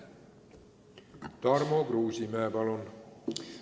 Tarmo Kruusimäe, palun!